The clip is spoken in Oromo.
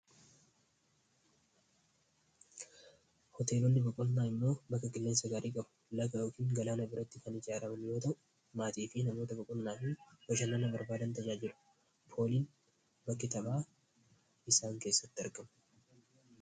Hoteelonni boqonnaa immoo bakka qilleensa gaarii qabu laga yookiin galaana biratti kan ijaaramu maatii fi namoota baqonnaa fi bashannanaa barbaadan tajaajilu pooliin bakki taphaa isaan keessatti argamu.